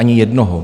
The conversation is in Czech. Ani jednoho.